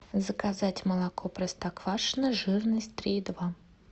заказать молоко простоквашино жирность три и два